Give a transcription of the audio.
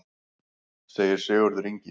Segir Sigurður Ingi.